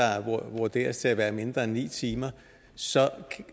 vurderes til at være mindre end ni timer så